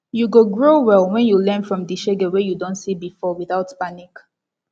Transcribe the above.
yu go grow well wen yu learn from di shege wey yu don see bifor witout panic